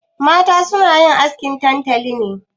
Mata suna yin askin tantali ne?